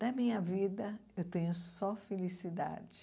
Da minha vida, eu tenho só felicidade.